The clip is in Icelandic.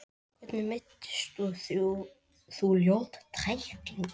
Hvernig meiddist þú, ljót tækling?